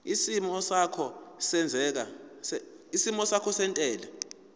isimo sakho sezentela